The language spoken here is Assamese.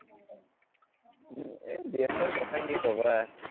এৰ GF ৰ কথা কি কবা